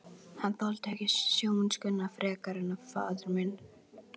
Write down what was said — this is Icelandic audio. Hann þoldi ekki sjómennskuna frekar en faðir minn.